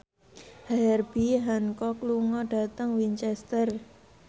Herbie Hancock lunga dhateng Winchester